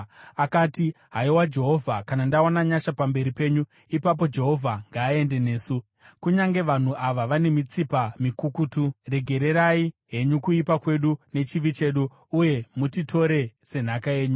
Akati, “Haiwa Jehovha, kana ndawana nyasha pamberi penyu, ipapo Jehovha ngaaende nesu. Kunyange vanhu ava vane mitsipa mikukutu, regererai henyu kuipa kwedu nechivi chedu, uye mutitore senhaka yenyu.”